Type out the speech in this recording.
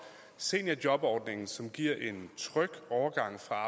seniorjobordningen som giver en tryg overgang fra